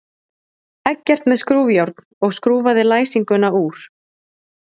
Eggert með skrúfjárn og skrúfaði læsinguna úr.